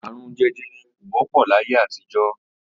Àrùn je̩je̩re̩ kò wó̩pò̩ láyé àtijó̩